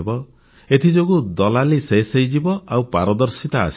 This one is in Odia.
ଏଥିଯୋଗୁଁ ଦଲାଲି ଶେଷ ହୋଇଯିବ ଆଉ ପାରଦର୍ଶିତା ଆସିଯିବ